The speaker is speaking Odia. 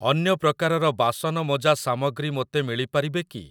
ଅନ୍ୟ ପ୍ରକାରର ବାସନ ମଜା ସାମଗ୍ରୀ ମୋତେ ମିଳିପାରିବେ କି?